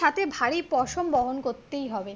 সাথে ভারী পশম বহন করতেই হবে